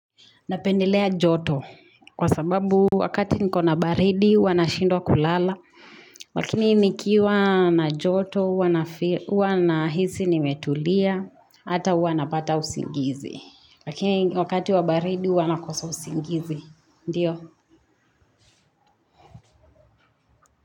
Napendelea joto, kwa sababu wakati niko na baridi, huwa na shindwa kulala, lakini nikiwa na joto, huwa na hisi nimetulia, ata huwa napata usingizi. Lakini wakati wa baridi, huwa na kosa usingizi. Ndiyo?